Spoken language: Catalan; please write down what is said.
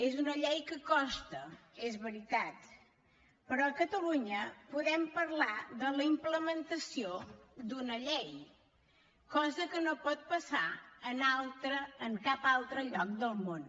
és una llei que costa és veritat però a catalunya podem parlar de la implementació d’una llei cosa que no pot passar en cap altre lloc del món